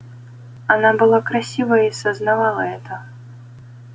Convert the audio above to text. она была красива и сознавала это